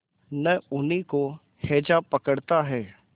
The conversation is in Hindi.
न उन्हीं को हैजा पकड़ता है